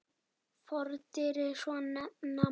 Fordyri svo nefna má.